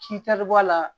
K'i tari bɔ a la